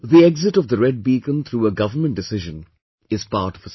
The exit of the red beacon through a government decision is part of a system